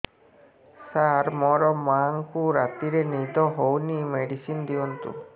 ସାର ମୋର ମାଆଙ୍କୁ ରାତିରେ ନିଦ ହଉନି ମେଡିସିନ ଦିଅନ୍ତୁ